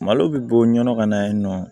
Malo bɛ bɔ ɲɔnɔ ka na yen nɔ